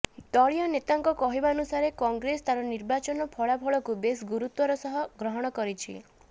ଦଳୀୟ ନେତାଙ୍କ କହିବାନୁସାରେ କଂଗ୍ରେସ ତାର ନିର୍ବାଚନ ଫଳାଫଳକୁ ବେଶ୍ ଗୁରୁତ୍ୱର ସହ ଗ୍ରହଣ କରିଛି